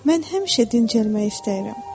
Mən həmişə dincəlmək istəyirəm.